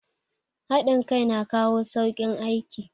Hadin kai na kawo saukin aiki